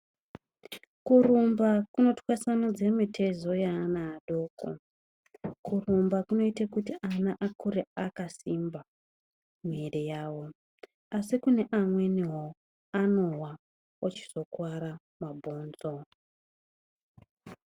Kurumba kunotwasanudza mitezo yeana adoko. Kurumba kunoita kuti akure akasimba mwiri yavo, asi kune amweniwo anowa ochizokuwara mabhonzo.